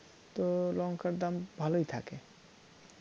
তো লঙ্কার দাম ভালোই থাকে